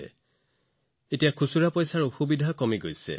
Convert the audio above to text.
তেওঁলোকে এতিয়া খুচুৰা ধনৰ সমস্যাৰো সন্মুখীন নহয়